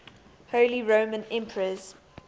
holy roman emperors